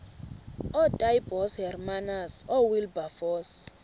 ootaaibos hermanus oowilberforce